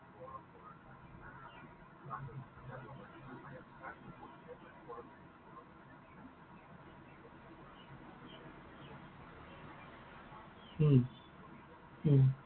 উম উম